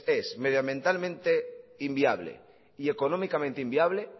es medioambientalmente inviable y económicamente inviable